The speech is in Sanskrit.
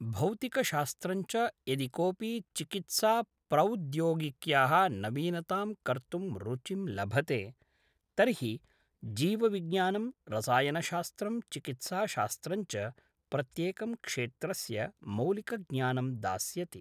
भौतिकशास्त्रञ्च यदि कोऽपि चिकित्साप्रौद्योगिक्याः नवीनतां कर्तुं रुचिं लभते तर्हि जीवविज्ञानं रसायनशास्त्रं चिकित्साशास्त्रञ्च प्रत्येकं क्षेत्रस्य मौलिकज्ञानं दास्यति